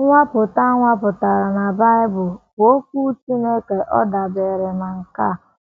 Nnwapụta a nwapụtara na Bible bụ Okwu Chineke ọ̀ dabeere na nkà